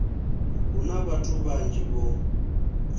hu na vhathu vhanzhi vho